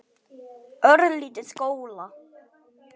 Örlítil gola.